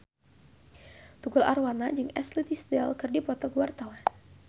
Tukul Arwana jeung Ashley Tisdale keur dipoto ku wartawan